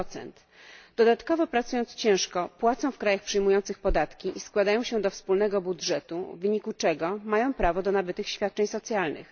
1. Dodatkowo ciężko pracując, płacą w krajach przyjmujących podatki i składają się do wspólnego budżetu, w wyniku czego mają prawo do nabytych świadczeń socjalnych.